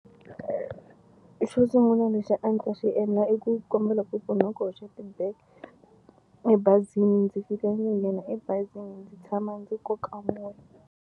Xo sungula lexi a ndzi ta xi endla i ku kombela ku pfuniwa ku hoxa ti-bag ebazini ndzi fika ndzi nghena ebazini ndzi tshama ndzi koka moya.